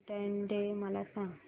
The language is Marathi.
व्हॅलेंटाईन्स डे मला सांग